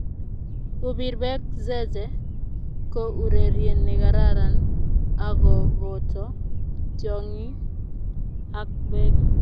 Kupir beek zeze ko urerie ne kararan ako boto tiongii ak biik.